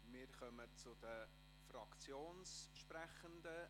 Wir kommen zu den Fraktionssprechenden.